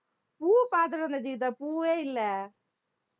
பூ பாத்துட்டு வந்தேன் கீதா பூவே இல்ல